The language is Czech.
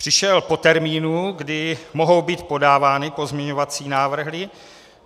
Přišel po termínu, kdy mohou být podávány pozměňovací návrhy.